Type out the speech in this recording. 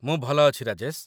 ମୁଁ ଭଲ ଅଛି, ରାଜେଶ